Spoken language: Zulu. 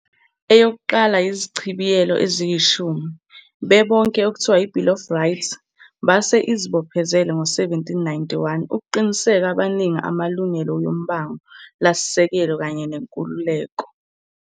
Eyokuqala izichibiyelo eziyishumi, bebonke okuthiwa i Bill of Rights, base izibophezele ngo 1791 uqiniseke abaningi amalungelo yombango lasisekelo kanye nenkululeko.